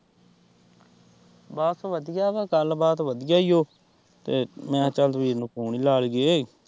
ਬਸ ਵਧੀਆ ਵਾ ਗੱਲਬਾਤ ਵਧੀਆ ਏ ਓ ਤੇ ਮੈਂ ਕਿਹਾ ਚੱਲ ਵੀਰ ਨੂੰ ਫੋਨ ਹੀ ਲਾ ਲਈਏ।